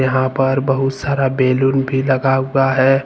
यहां पर बहुत सारा बैलून भी लगा हुआ है।